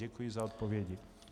Děkuji za odpovědi.